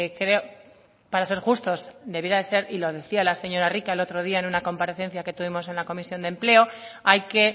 creo para ser justos debiera de ser y lo decía la señora rica el otro día en una comparecencia que tuvimos en la comisión de empleo hay que